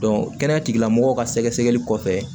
kɛnɛya tigilamɔgɔw ka sɛgɛsɛgɛli kɔfɛ